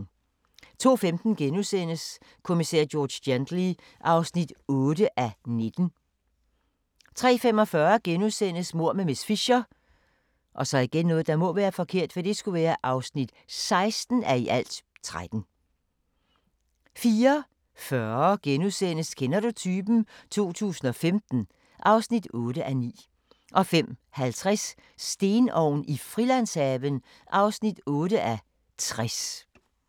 02:15: Kommissær George Gently (8:19)* 03:45: Mord med miss Fisher (16:13)* 04:40: Kender du typen? 2015 (8:9)* 05:50: Stenovn i Frilandshaven (8:60)